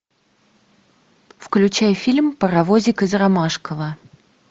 включай фильм паровозик из ромашково